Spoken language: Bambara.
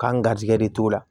K'an garisigɛ de t'o la